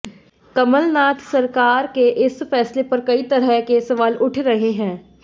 कमलनाथ सरकार के इस फैसले पर कई तरह के सवाल उठ रहे हैं